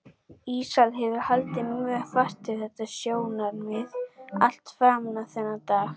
Íslam hefur haldið mjög fast við þetta sjónarmið allt fram á þennan dag.